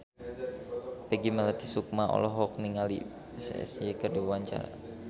Peggy Melati Sukma olohok ningali Psy keur diwawancara